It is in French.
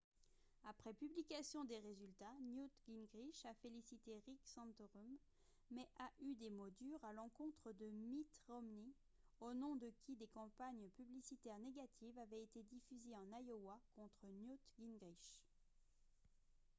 après publication des résultats newt gingrich a félicité rick santorum mais a eu des mots durs à l'encontre de mitt romney au nom de qui des campagnes publicitaires négatives avaient été diffusées en iowa contre newt gingrich